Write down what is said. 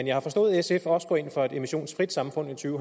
jeg har forstået at sf også går ind for et emissionsfrit samfund i to